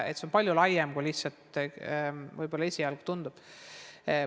See on palju laiem teema, kui võib-olla esialgu tundub.